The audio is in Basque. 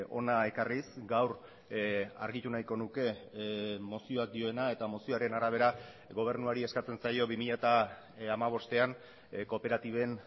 hona ekarriz gaur argitu nahiko nuke mozioak dioena eta mozioaren arabera gobernuari eskatzen zaio bi mila hamabostean kooperatiben